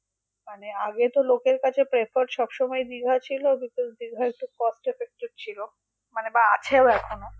মানে আগে তো লোকের কাছে prefer সবসময় দীঘা ছিল because দীঘা একটু মানে cost effective বা আছেও এখনও